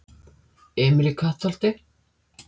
Emil í Kattholti